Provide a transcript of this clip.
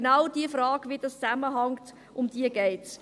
Genau um diese Frage, wie das zusammenhängt, geht es.